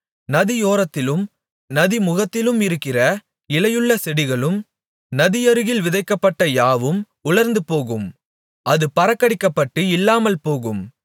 நதியோரத்திலும் நதிமுகத்திலும் இருக்கிற இலையுள்ள செடிகளும் நதியருகில் விதைக்கப்பட்ட யாவும் உலர்ந்துபோகும் அது பறக்கடிக்கப்பட்டு இல்லாமல்போகும்